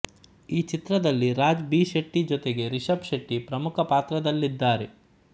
ಈ ಚಿತ್ರದಲ್ಲಿ ರಾಜ್ ಬಿ ಶೆಟ್ಟಿ ಜೊತೆಗೆ ರಿಷಬ್ ಶೆಟ್ಟಿ ಪ್ರಮುಖ ಪಾತ್ರಗಳಲ್ಲಿದ್ದಾರೆ